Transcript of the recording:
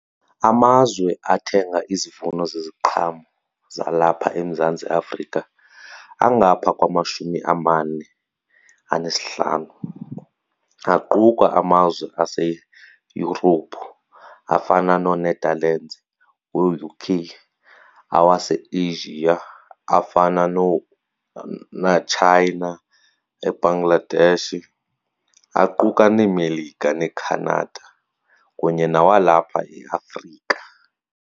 Amazwe athenga izivuno zeziqhamo zalapha eMzantsi Afrika angaphaa kwamashumi amane anesihlanu. Aquka amazwe aseYurophu afana nooNetherlands, ooUK, awaseAsia afana noomaChina, eBangladesh aquka neeMelika neeCanada kunye nawalapha eAfrika.